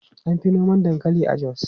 An fi noma dankali a Jos.